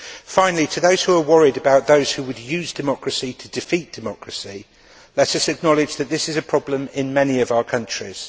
Finally, to those who are worried about those who would use democracy to defeat democracy, let us acknowledge that this is a problem in many of our countries.